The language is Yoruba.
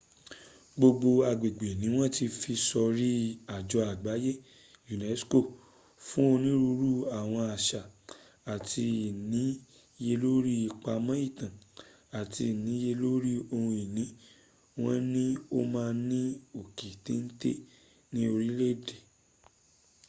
gbogbo agbègbè ni wọ́n ti fi sọrí àjọ àgbáye unesco fún onírúurú àwọn àṣà àti ìníyelóri ìpamọ̀ ìtàn àti iniyelórí ohun ìní wọn ni o wà ní òkè téńté ní orílẹ̀ èdè